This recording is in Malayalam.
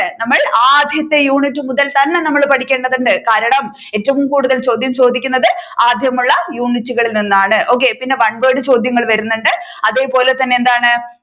നമ്മൾ ആദ്യത്തെ യൂണിറ്റ് മുതൽ തന്നെ നമ്മൾ പഠിക്കേണ്ടതുണ്ട് കാരണം ഏറ്റവും കൂടുതൽ ചോദ്യം ചോദിക്കുന്നത് ആദ്യമുള്ള യൂണിറ്റുകളിൽ നിന്നാണ് okay പിന്നെ one word ചോദ്യങ്ങൾ വരുന്നുണ്ട് അതേപോലെ തന്നെ എന്താണ്